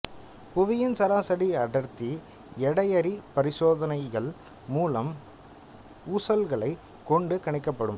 புவியின் சராசரி அடர்த்தி எடையறி பரிசோதனைகள் மூலம் ஊசல்களைக் கொண்டு கணிக்கப்படும்